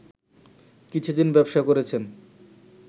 কিছুদিন ব্যবসা করেছেন